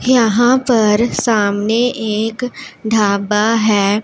यहां पर सामने एक ढाबा है।